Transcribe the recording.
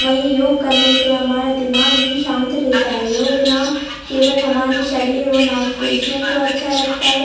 वही योग करने से हमारा दिमाग भी शांत रहता है योग न केवल हमारे शरीर और मांस पेशियों को अच्छा रखता है।